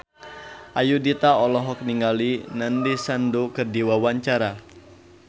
Ayudhita olohok ningali Nandish Sandhu keur diwawancara